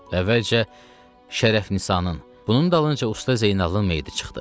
Əvvəlcə Şərəfnisanın, bunun dalınca Usta Zeynalın meyidi çıxdı.